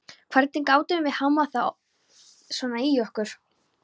Hvernig gátum við hámað þá svona í okkur?